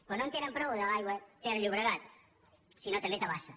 però no en tenen prou amb l’aigua ter llobregat sinó també tabasa